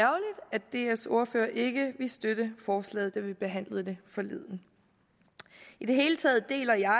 dfs ordfører ikke ville støtte forslaget da vi behandlede det forleden i det hele taget deler jeg